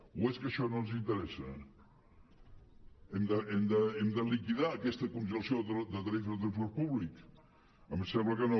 o és que això no ens interessa hem de liquidar aquesta congelació de tarifes de transport públic a mi em sembla que no